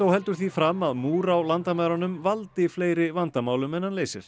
heldur því fram að múr á landamærunum valdi fleiri vandamálum en hann leysir